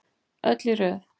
Öll í röð.